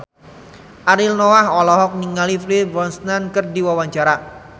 Ariel Noah olohok ningali Pierce Brosnan keur diwawancara